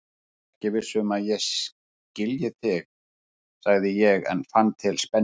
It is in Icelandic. Ég er ekki viss um að ég skilji þig, sagði ég en fann til spennu.